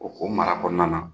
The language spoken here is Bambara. O o mara kɔnɔna na